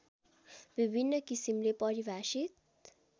विभिन्न किसिमले परिभाषित